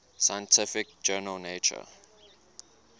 scientific journal nature